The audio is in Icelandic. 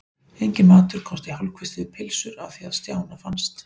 Enginn matur komst í hálfkvisti við pylsur að því er Stjána fannst.